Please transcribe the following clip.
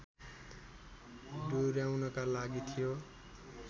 डोर्‍याउनका लागि थियो